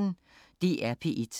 DR P1